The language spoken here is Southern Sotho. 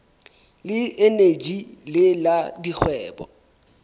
le eneji le la dikgwebo